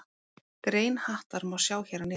Grein Hattar má sjá hér að neðan.